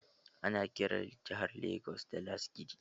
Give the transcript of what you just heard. Ana kiran jahar Legas da Lasgidi.